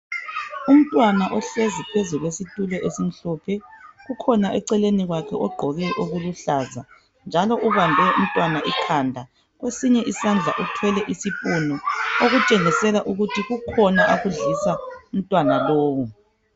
Umntwana ohlezi phezukwesitulo esimhlophe, kukhona eceleni kwakhe ogqoke okuluhlaza njalo ubambe umntwana ikhanda. Kwesinye isandla uthwele isipunu okutshengisela ukuthi kukhona akudlisa umntwana lowu